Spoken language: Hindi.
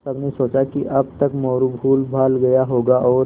सबने सोचा कि अब तक मोरू भूलभाल गया होगा और